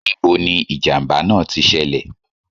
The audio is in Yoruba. Ní bo ni ìjàmbá náà ti ṣẹlẹ̀